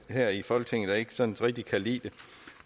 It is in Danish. her i folketinget der ikke sådan rigtig kan lide